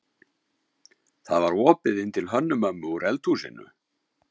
Það var opið inn til Hönnu-Mömmu úr eldhúsinu.